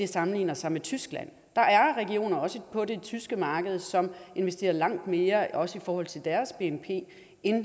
sammenligner sig med tyskland der er regioner også på det tyske marked som investerer langt mere også i forhold til deres bnp end